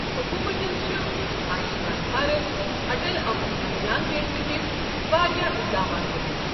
حکومتن چھ آیوٗشمان بھارت، اٹل امرت ابھیان بیترِ ہِوۍ واریاہ اِقدامات تُلِمٕتۍ۔